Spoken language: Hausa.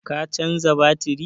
Ka canza batiri?